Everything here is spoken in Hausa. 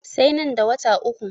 Sai nan da wata uku.